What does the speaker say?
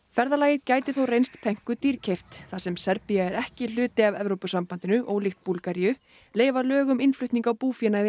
ferðalagið gæti þó reynst dýrkeypt þar sem Serbía er ekki hluti af Evrópusabandinu ólíkt Búlgaríu leyfa lög um innflutning á búféanði